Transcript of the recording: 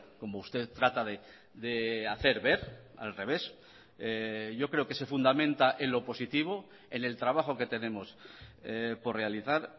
como usted trata de hacer ver al revés yo creo que se fundamenta en lo positivo en el trabajo que tenemos por realizar